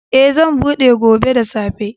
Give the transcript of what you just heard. Eh, zan buɗe gobe da safe.